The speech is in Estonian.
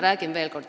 Räägin veel kord.